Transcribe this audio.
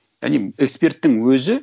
эксперттің өзі